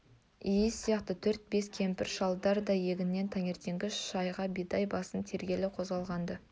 иіс сияқты төрт-бес кемпір-шалдар да егіннен таңертеңгі шайға бидай басын тергелі қозғалған-ды